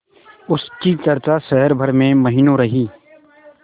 उसकी चर्चा शहर भर में महीनों रही